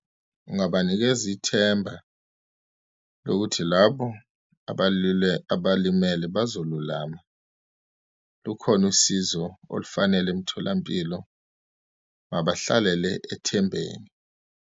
Ungabanikeza ithemba lokuthi labo abalimele bazo lulama. Lukhona usizo olufanele emtholampilo, mabahlalele ethembeni.